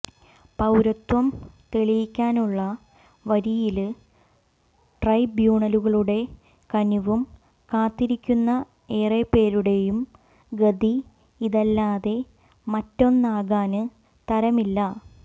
പൌരത്വം തെളിയിക്കാനുള്ള വരിയില് ട്രൈബ്യൂണലുകളുടെ കനിവും കാത്തിരിക്കുന്ന ഏറെപ്പേരുടെയും ഗതി ഇതല്ലാതെ മറ്റൊന്നാകാന് തരമില്ല